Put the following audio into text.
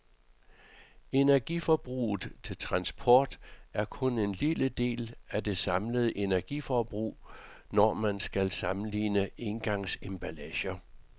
Energiforbruget til transport er kun en lille del af det samlede energiforbrug, når man skal sammenligne engangsemballager.